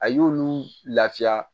A y'olu lafiya